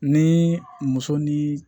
Ni muso ni